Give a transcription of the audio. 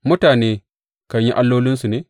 Mutane kan yi allolinsu ne?